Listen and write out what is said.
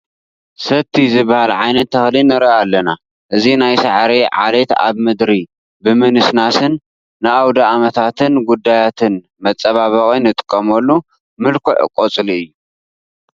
ሰቲ ዝበሃል ዓይነት ተኽሊ ንርኢ ኣለና፡፡ እዚ ናይ ሳዕሪ ዓሌት ኣብ ምድሪ ብምንስናስ ንኣውደ ዓመታትን ጉዳያትን መፀባበቒ ንጥቀመሉ ምልኩዕ ቆፅሊ እዩ፡፡